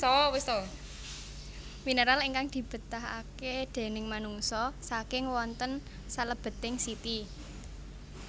Minéral ingkang dibétahaké déning manungsa saking wonten salèbeting siti